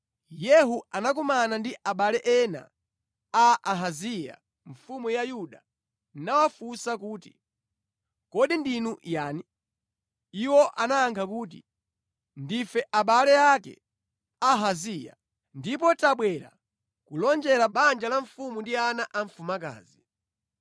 Yehu anakumana ndi abale ena a Ahaziya mfumu ya Yuda nawafunsa kuti, “Kodi ndinu yani?” Iwo anayankha kuti, “Ndife abale ake a Ahaziya, ndipo tabwera kulonjera banja la mfumu ndi ana a mfumukazi.”